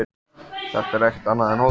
Þetta er ekkert annað en hótun.